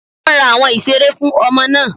Wọ́n ra àwọn ìseré fún ọmọ náà